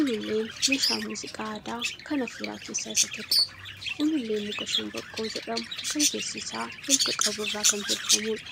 Ululleen meeshaa muuziqaa aadaa kan afuuraa keessaa isa tokko. Ululleen muka shanbaqqoo jedhamu kan keessi isaa holqa qabu irraa kan tolfamuudha.